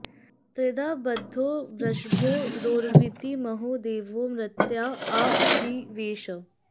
त्रिधा॑ ब॒द्धो वृ॑ष॒भो रो॑रवीति म॒हो दे॒वो मर्त्या॒ँ आ वि॑वेश